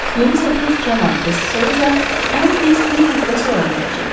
Yeni səfir cənab De Souza ən tez bir həftə sonra gələcək.